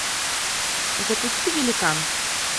запусти великан